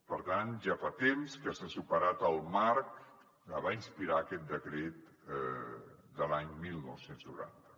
per tant ja fa temps que s’ha superat el marc que va inspirar aquest decret de l’any dinou noranta